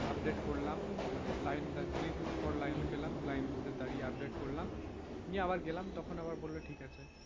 update করলাম মানে line এ দুদিন পর line এ পেলাম, line দাড়িয়ে update করলাম। নিয়ে আবার গেলাম তখন আবার বলল ঠিক আছে।